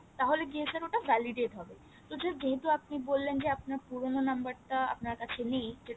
তাহলে গিয়ে sir ওটা validate হবে তো sir যেহেতু আপনি বললেন যে আপনার পুরনো নাম্বার টা আপনার কাছে নেই